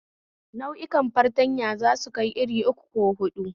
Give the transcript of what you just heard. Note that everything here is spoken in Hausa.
Nau'ukan fartanya zasu kai irin uku ko hudu